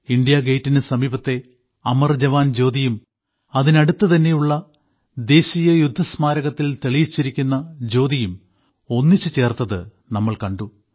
ഇന്ത്യാഗേറ്റിനു സമീപത്തെ അമർ ജവാൻ ജ്യോതിയും അതിനടുത്തുതന്നെയുള്ള ദേശീയ യുദ്ധസ്മാരകത്തിൽ തെളിയിച്ചിരിക്കുന്ന ജ്യോതിയും ഒന്നിച്ചു ചേർത്തത് നമ്മൾ കണ്ടു